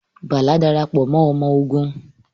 Bala Darapọ mọ ọmọ ogun